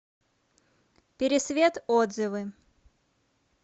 пересвет отзывы